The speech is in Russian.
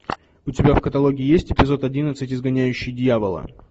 у тебя в каталоге есть эпизод одиннадцать изгоняющий дьявола